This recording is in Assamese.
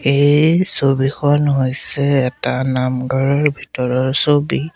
এই ছবিখন হৈছে এটা নামঘৰৰ ভিতৰৰ ছবি।